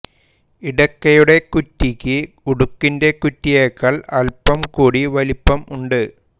ഇടയ്ക്കയുടെ കുറ്റിയ്ക്ക് ഉടുക്കിന്റെ കുറ്റിയേക്കാൾ അല്പം കൂടി വലിപ്പം ഉണ്ട്